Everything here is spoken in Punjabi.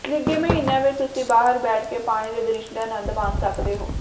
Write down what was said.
ਨਿੱਘੇ ਮਹੀਨਿਆਂ ਵਿਚ ਤੁਸੀਂ ਬਾਹਰ ਬੈਠ ਕੇ ਪਾਣੀ ਦੇ ਦ੍ਰਿਸ਼ ਦਾ ਆਨੰਦ ਮਾਣ ਸਕਦੇ ਹੋ